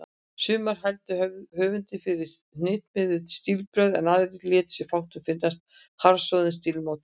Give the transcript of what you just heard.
Sumir hældu höfundi fyrir hnitmiðuð stílbrögð, en aðrir létu sér fátt finnast um harðsoðinn stílsmátann.